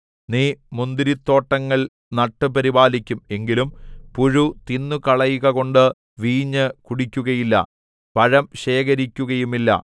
നീ മുന്തിരിത്തോട്ടങ്ങൾ നട്ട് പരിപാലിക്കും എങ്കിലും പുഴു തിന്നുകളയുകകൊണ്ട് വീഞ്ഞു കുടിക്കുകയില്ല പഴം ശേഖരിക്കുകയുമില്ല